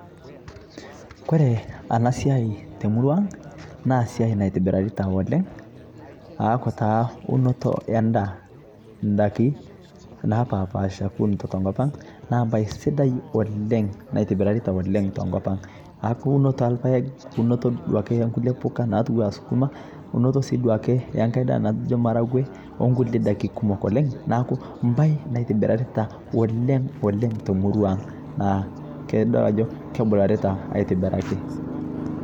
kore anaa siai temurua aang naa siai naitibirareita oleng aaku taa unotoo ee ndaa , ndakii napapaasha kuunito te nkopang naa mbai sidai oleng naitibirareitaa tenkopang aaku unotoo ee lpaeg unotoo duake ee nkulie pukaa natuwaa sukumaa unotoo sii duake ee nghai daa naijoo marague oo nkulie dakii kumok oleng naaku mbai naitibirareitaa oleng oleng te murau aang naa kadol ajoo kebularitaa aitibiraki.